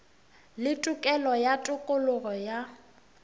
le tokelo ya tokologo ya